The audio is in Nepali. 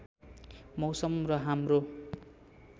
मौसम र हाम्रो